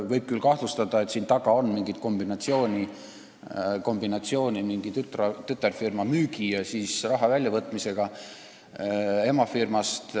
Võib kahtlustada, et siin taga on mingid kombinatsioonid mingi tütarfirma müügiga ja raha väljavõtmisega emafirmast.